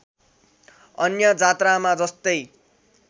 अन्य जात्रामा जस्तै